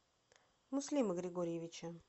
муслима григорьевича